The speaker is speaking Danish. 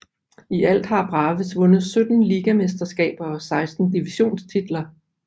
I alt har Braves vundet 17 ligamesterskaber og 16 divisionstitler